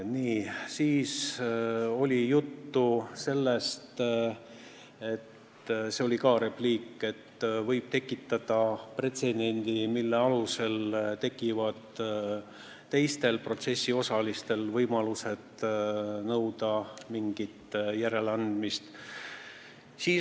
Nii, siis oli juttu sellest – see oli ka repliik –, et see võib tekitada pretsedendi, mille alusel tekib teistel protsessiosalistel võimalus nõuda mingit järeleandmist.